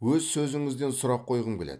өз сөзіңізден сұрақ қойғым келеді